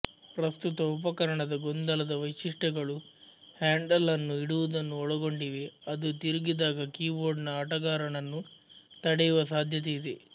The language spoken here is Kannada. ಪ್ರಸ್ತುತ ಉಪಕರಣದ ಗೊಂದಲದ ವೈಶಿಷ್ಟ್ಯಗಳು ಹ್ಯಾಂಡಲ್ ಅನ್ನು ಇಡುವುದನ್ನು ಒಳಗೊಂಡಿವೆ ಅದು ತಿರುಗಿದಾಗ ಕೀಬೋರ್ಡ್ನ ಆಟಗಾರನನ್ನು ತಡೆಯುವ ಸಾಧ್ಯತೆಯಿದೆ